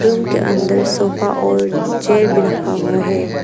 Room के अंदर sofa और चेयर भी रखा हुआ है।